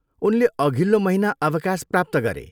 उनले अघिल्लो महिना अवकाश प्राप्त गरे।